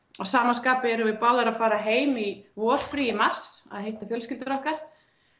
að sama skapi erum við báðar að fara heim í vorfrí í mars að hitta fjölskyldurnar okkar